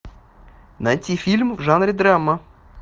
найти фильм в жанре драма